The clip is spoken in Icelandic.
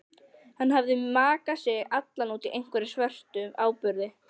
Hann hafði makað sig allan út í einhverjum svörtum áburði.